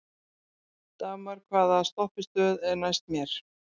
Dagmar, hvaða stoppistöð er næst mér?